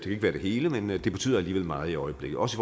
ikke være det hele men det betyder alligevel meget i øjeblikket også